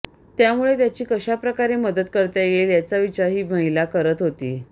यामुळे त्याची कशाप्रकारे मदत करता येईल याचा विचार ही महिला करत होती